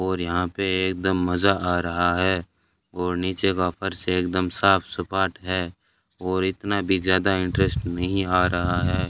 और यहां पे एकदम मजा आ रहा है और नीचे का फर्श एकदम साफ स्पॉट है और इतना भी ज्यादा इंटरेस्ट नहीं आ रहा है।